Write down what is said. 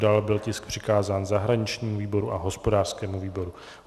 Dále byl tisk přikázán zahraničnímu výboru a hospodářskému výboru.